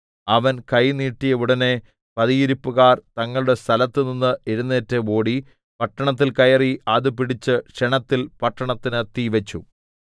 അവൻ കൈ നീട്ടിയ ഉടനെ പതിയിരിപ്പുകാർ തങ്ങളുടെ സ്ഥലത്തുനിന്ന് എഴുന്നേറ്റ് ഓടി പട്ടണത്തിൽ കയറി അത് പിടിച്ച് ക്ഷണത്തിൽ പട്ടണത്തിന് തീ വെച്ചു